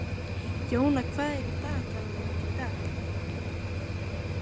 Jóna, hvað er á dagatalinu mínu í dag?